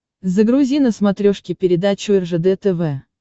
загрузи на смотрешке передачу ржд тв